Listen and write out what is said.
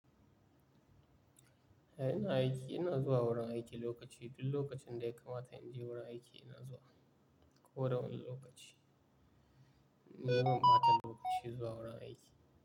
Eh ina aiki, ina zuwa wurin aiki lokaci, duk lokacin da ya kamata in je wurin aiki ina zuwa. Ko da wani lokaci. Ni ban bata lokaci zuwa wurin aiki.